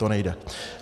To nejde.